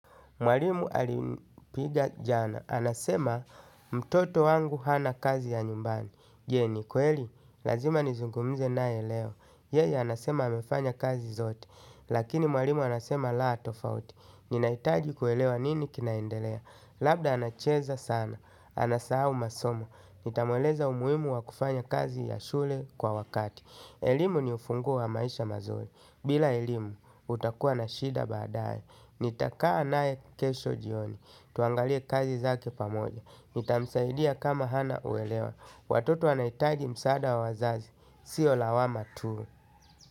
Mwalimu alinipiga jana, anasema mtoto wangu hana kazi ya nyumbani je ni kweli, lazima nizungumze nae leo. Yeye anasema hamefanya kazi zote. Lakini mwalimu anasema laa tofauti. Ninaitaji kuelewa nini kinaendelea. Labda anacheza sana, anasahau masomo. Nitamueleza umuhimu wa kufanya kazi ya shule kwa wakati. Elimu ni ufunguo wa maisha mazuri. Bila elimu, utakua na shida badaye. Nitakaa naye keshe jioni, tuangalie kazi zake pamoja nitamsadia kama hana kuelewa watoto wanaitaji msaada wa wazazi sio lawama tu.